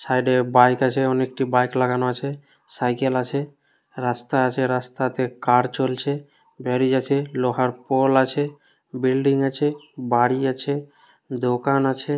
সাইডে বাইক আছে। অনেকটি বাইক লাগানো আছে। সাইকেল আছে। রাস্তা আছে। রাস্তাতে কার চলছে। গ্যাড়ি যাছে। লোহার পোল আছে। বিল্ডিং আছে। বাড়ি আছে। দোকান আছে।